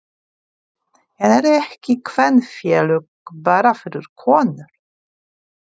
En eru ekki kvenfélög bara fyrir konur?